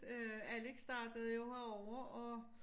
Øh Alex startede jo herovre og